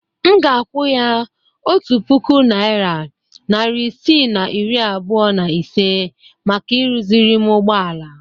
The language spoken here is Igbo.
M ga-akwụ ya otu puku naịra, narị isii na iri abụọ na ise maka ịrụzịrị m ụgbọala.